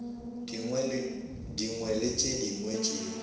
dingwe le tše dingwe tšeo